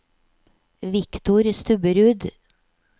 Viktor Stubberud